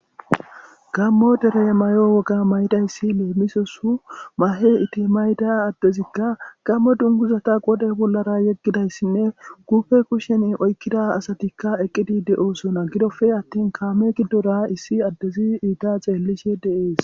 gammo dere mayo woga maydayssi leemisosu mahe itimayda addezikka gammo dunguzata qode bollara yeggidayssinne gufe kushen oykkida asatikka eqqidi de7oosona gidofe attin kaame giddora issi addezi iita xeellishe de7es